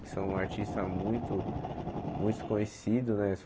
Que são artistas muito muito conhecidos, né?